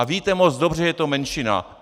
A víte moc dobře, že je to menšina.